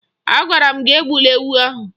Agwara m gị egbula ewu ahụ!